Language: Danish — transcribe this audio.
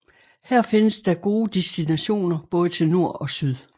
Her findes der gode destinationer både til nord og syd